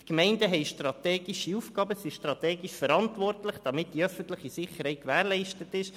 Die Gemeinden haben strategische Aufgaben und sind strategisch verantwortlich, damit die öffentliche Sicherheit gewährleistet ist.